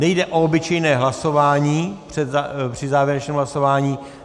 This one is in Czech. Nejde o obyčejné hlasování při závěrečném hlasování.